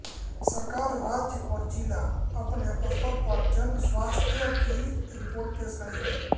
सरकार राज्य और ज़िला अपने स्तर पर जन स्वास्थ्य की रिपोर्ट पेश करेगी